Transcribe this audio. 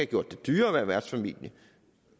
gjort det dyrere at være værtsfamilie